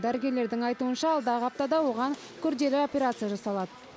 дәрігерлердің айтуынша алдағы аптада оған күрделі операция жасалады